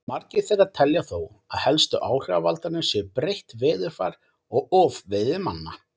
margir þeirra telja þó að helstu áhrifavaldarnir séu breytt veðurfar og ofveiði manna